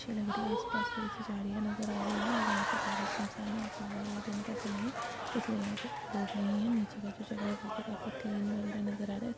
अछी लग रही है आसपास थोड़ीसी झाडिया नज़र आ रही है और यह पे खाली सुमसान है ऐसा लग रहा ये दिन का समय है इसलिए यह पे लोग नहीं है नीचे का जो जगह है काफी क्लीन वगेरा नज़र आ रहा है।